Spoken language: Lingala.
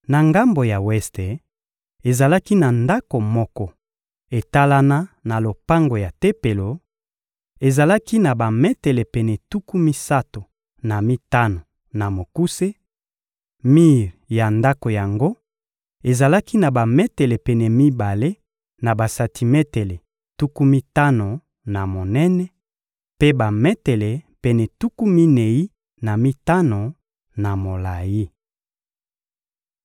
Na ngambo ya weste, ezalaki na ndako moko etalana na lopango ya Tempelo: ezalaki na bametele pene tuku misato na mitano na mokuse; mir ya ndako yango ezalaki na bametele pene mibale na basantimetele tuku mitano na monene, mpe bametele pene tuku minei na mitano na molayi.